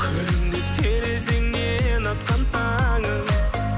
күлімдеп терезеңнен атқан таңым